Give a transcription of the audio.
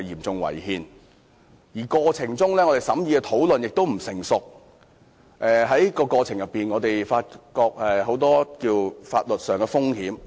此外，審議過程的討論並不成熟，但我們依然發現了很多法律風險。